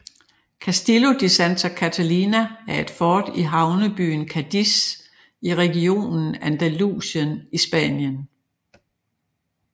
Castillo de Santa Catalina er et fort i havnebyen Cadiz i regionen Andalusien i Spanien